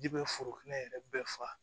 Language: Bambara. Ji bɛ foro kɛnɛ yɛrɛ bɛɛ fa